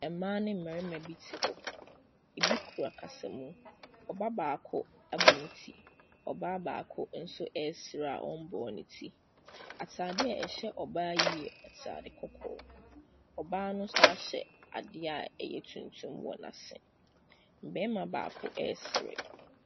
Mmaa ne mmarima bi te hɔ, bi kura kasamu, ɔbaa baako abɔ ne ti, ɔbaa baako nso ɛresere a ɔmbɔ ne ti. Ataade a ɛhyɛ ɔbaa yi yɛ ataade kɔkɔɔ, ɔbaa no san hyɛ adeɛ a ɛyɛ tuntum wɔ n’ase. Barima baako ɛresere.